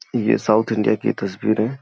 ये South India की तस्वीर है।